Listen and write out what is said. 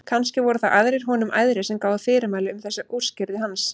Kannski voru það aðrir honum æðri sem gáfu fyrirmælin um þessa úrskurði hans.